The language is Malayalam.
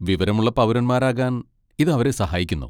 വിവരമുള്ള പൗരന്മാരാകാൻ ഇത് അവരെ സഹായിക്കുന്നു.